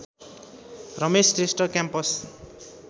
Ramesh Shrestha campus